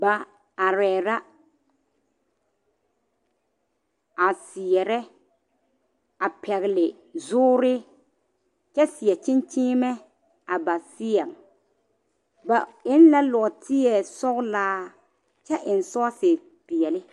Ba arɛɛ la a seɛrɛ a pɛgle zoore kyɛ seɛ kyenkyeemɛ a ba seɛŋ ba eŋ la nɔɔteɛ sɔglaa kyɛ eŋ sɔɔsepeɛle.